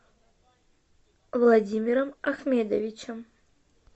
владимиром ахмедовичем